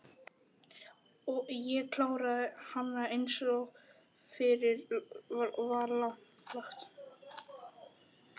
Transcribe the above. Ég kláraði hana einsog fyrir var lagt.